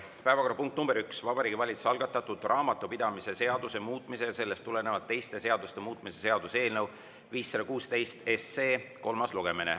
Päevakorrapunkt nr 1 on Vabariigi Valitsuse algatatud raamatupidamise seaduse muutmise ja sellest tulenevalt teiste seaduste muutmise seaduse eelnõu 516 kolmas lugemine.